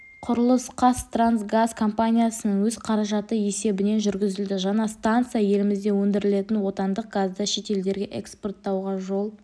құрылыс қазтрансгаз компаниясының өз қаражаты есебінен жүргізілді жаңа станция елімізде өндірілетін отандық газды шетелдерге эспорттауға жол